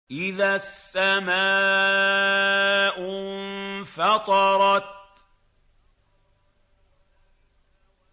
إِذَا السَّمَاءُ انفَطَرَتْ